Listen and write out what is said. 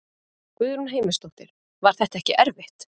Guðrún Heimisdóttir: Var þetta ekki erfitt?